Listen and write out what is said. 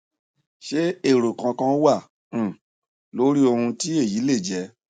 ṣé èrò kankan wà um lórí ohun tí èyí lè jẹ